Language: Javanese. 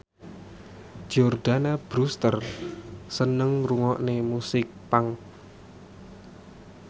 Jordana Brewster seneng ngrungokne musik punk